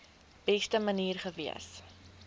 beste manier gewees